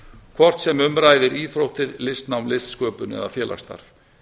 hvort sem um ræðir íþróttir listnám listsköpun eða félagsstarf